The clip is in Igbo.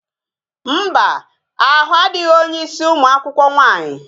Mba, ahụ adịghị onye ịsị ụmụ akwụkwọ nwaanyị